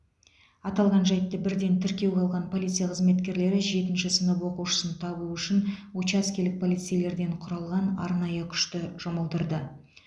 аталған жайтты бірден тіркеуге алған полиция қызметкерлері жетінші сынып оқушысын табу үшін учаскелік полицейлерден құралған арнайы күшті жұмылдырды